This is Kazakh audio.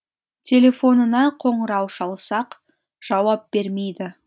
телефонына қоңырау шалсақ жауап бермейді